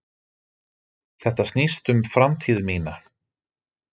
Þetta snýst um framtíð mína.